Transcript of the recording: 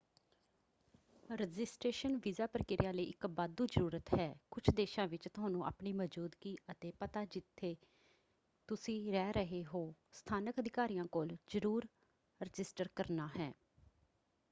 Registration visa ਪ੍ਰਕਿਰਿਆ ਲਈ ਇਕ ਵਾਧੂ ਜ਼ਰੂਰਤ ਹੈ। ਕੁਝ ਦੇਸ਼ਾਂ ਵਿੱਚ ਤੁਹਾਨੂੰ ਆਪਣੀ ਮੌਜ਼ੂਦਗੀ ਅਤੇ ਪਤਾ ਜਿੱਥੇ ਤੁਸੀਂ ਰਹਿ ਰਹੇ ਹੋ ਸਥਾਨਕ ਅਧਿਕਾਰੀਆਂ ਕੋਲ ਜ਼ਰੂਰ ਰਜਿਸਟਰ ਕਰਨਾ ਹੈ।